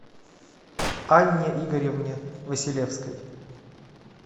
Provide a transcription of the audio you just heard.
анне игоревне василевской